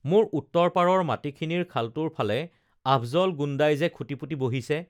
মোৰ উত্তৰপাৰৰ মাটিখিনিৰ খালটোৰ ফালে আফজল গুণ্ডাই যে খুটি পুতি বহিছে